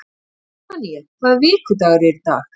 Sefanía, hvaða vikudagur er í dag?